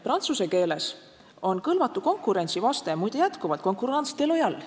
Prantsuse keeles on "kõlvatu konkurentsi" vaste muide endiselt concurrence déloyale.